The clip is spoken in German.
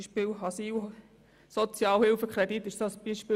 Die Asylsozialhilfe ist ein solches Beispiel.